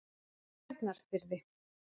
Bjarnarfirði